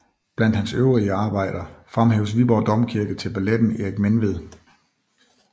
Blandt hans øvrige arbejder fremhæves Viborg Domkirke til balletten Erik Menved